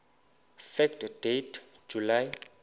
fact date july